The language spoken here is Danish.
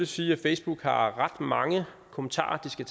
sige at facebook har ret mange kommentarer de skal